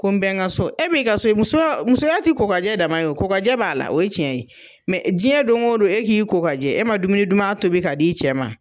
Ko n bɛn n ka so, e bi ka, muso musoya ti kokajɛ dama ye, o kokajɛ b'a la, o ye cɛn ye, jɛn don o don, e k'i kokajɛ, e ma dumuni duman tobi ka di i cɛ ma